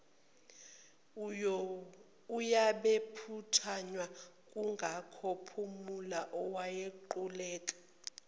owayephuthunywa kwakunguphumla owaquleka